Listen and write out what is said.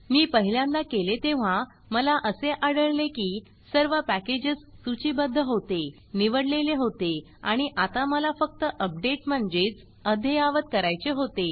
मी पहिल्यांदा केले तेव्हा मला असे आढळले की सर्व पॅकेजस सूचीबद्ध होते निवडलेले होते आणि आता मला फक्त अपडेट म्हणजेच अद्ययावत करायचे होते